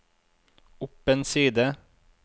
opp en side